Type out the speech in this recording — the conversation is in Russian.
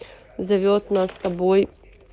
зовёт нас с тобой